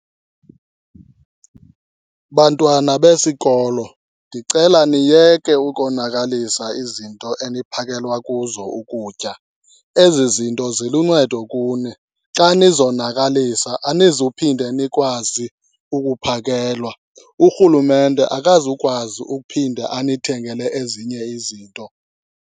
Bantwana besikolo, ndicela niyeke ukonakalisa izinto eniphakelwa kuzo ukutya. Ezi zinto ziluncedo kuni, xa nizonakalisa anizuphinde nikwazi ukuphakelwa. Urhulumente akazukwazi ukuphinda anithengele ezinye izinto.